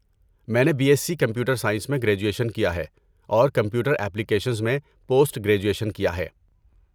میں نے B S C computer science میں گریجویشن کیا ہے اور کمپیوٹر ایپلیکیشنز میں پوسٹ گریجویشن کیا ہے۔